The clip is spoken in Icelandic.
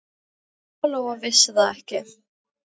Lóa-Lóa vissi það ekki.